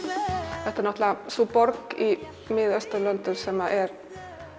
nei þetta er náttúrulega sú borg í Mið Austurlöndum sem er